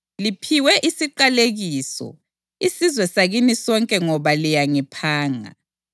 Liphiwe isiqalekiso, isizwe sakini sonke ngoba liyangiphanga.